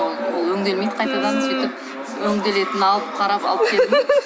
ол өңделмейді қайтадан сөйтіп өңделетін алып қарап алып